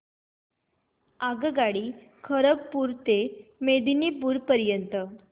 आगगाडी खरगपुर ते मेदिनीपुर पर्यंत